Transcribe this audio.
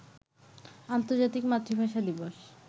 আন্তর্জাতিক মাতৃভাষা দিবস